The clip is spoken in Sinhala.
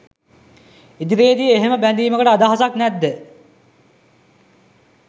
ඉදිරියේදී එහෙම බැඳීමකට අදහසක් නැද්ද